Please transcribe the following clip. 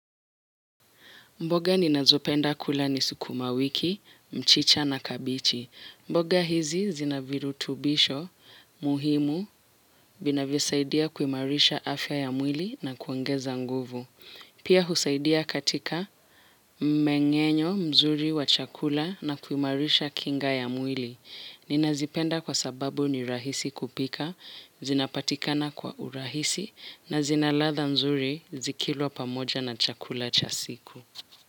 Mboga ninazopenda kula ni sukumawiki, mchicha na kabichi. Mboga hizi zina virutubisho, muhimu, vinavyosaidia kuimarisha afya ya mwili na kuongeza nguvu. Pia husaidia katika mmengenyo mzuri wa chakula na kuimarisha kinga ya mwili. Ninazipenda kwa sababu ni rahisi kupika, zinapatikana kwa urahisi, na zina kadha nzuri zikilwa pamoja na chakula chasiku.